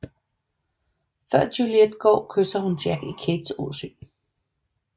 Før Juliet går kysser hun Jack i Kates åsyn